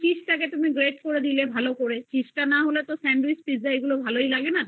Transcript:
থেকে cheese তাকে তুমি bread করে দিলে ভালো করে এইবার cheese তা